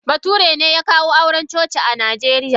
Bature ne ya kawo auren coci a Najeriya.